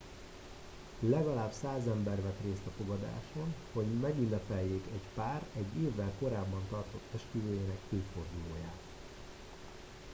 legalább 100 ember vett részt a fogadáson hogy megünnepeljék egy pár egy évvel korábban tartott esküvőjének évfordulóját